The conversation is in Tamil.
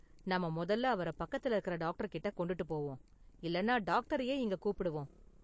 நாம முதல்ல அவர பக்கத்துல இருக்கற டாக்டர்கிட்ட கொண்டுட்டுப் போவோம், இல்லன்னா டாக்டரையே இங்க கூப்பிடுவோம்.